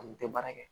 An tɛ baara kɛ